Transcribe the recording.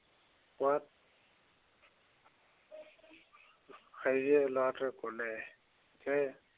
ল'ৰাটোৱে ক'লে, যে